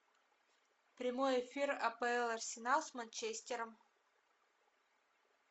прямой эфир апл арсенал с манчестером